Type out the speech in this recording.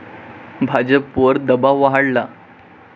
भाजपवर दबाव वाढला